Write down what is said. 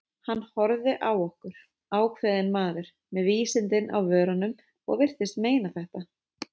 Hann horfði á okkur, ákveðinn maðurinn, með vísindin á vörunum- og virtist meina þetta.